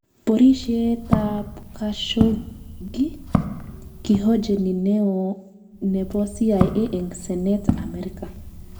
Porishet ap Kashoggi:kihojeni Neo nepo CIA eng senet Amerika